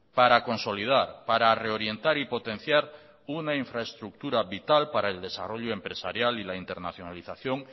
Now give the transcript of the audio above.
para consolidar para reorientar y potenciar una infraestructura para el desarrollo empresarial y la internacionalización